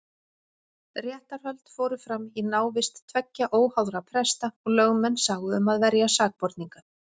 Réttarhöld fóru fram í návist tveggja óháðra presta og lögmenn sáu um að verja sakborninga.